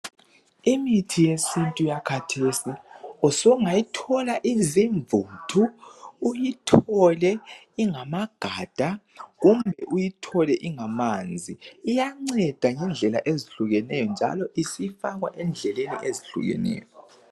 Imithi yesiNtu yakathesi usungayithola izimvuthu , uyithole ingamagada kumbe uyithole ingamanzi. Iyanceda ngendlela ezehlukeneyo njalo isifakwa embhodleleni ezehlukeneyo.